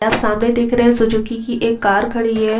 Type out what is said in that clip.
ये आप सामने देख रहे है सुजुकी की एक कार खड़ी है।